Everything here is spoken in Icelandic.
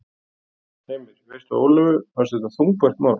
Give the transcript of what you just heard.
Heimir: Veistu að Ólöfu fannst þetta þungbært mál?